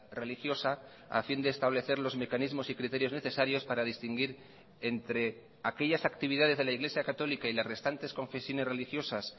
religiosa a fin de establecer los mecanismos y criterios necesarios para distinguir entre aquellas actividades de la iglesia católica y las restantes confesiones religiosas